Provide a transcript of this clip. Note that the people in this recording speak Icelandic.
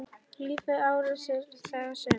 Lífið er ávallt það sama.